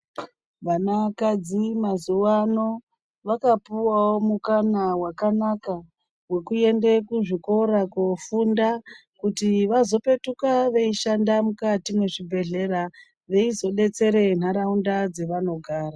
Vanakadzi mazuwa ano, vakapuwawo mukana wakanaka, wekuende kuzvikora koofunda, kuti vazopetuka veishanda mukati mwezvibhedhlera, kuti veizodetsere nharaunda dzevanogara.